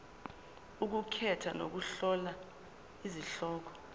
ukukhetha nokuhlola izihloko